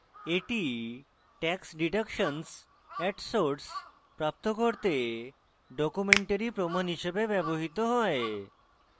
এটি tax deductions at source tds প্রাপ্ত করতে documentary প্রমাণ হিসেবে ব্যবহৃত হয়